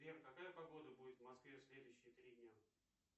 сбер какая погода будет в москве в следующие три дня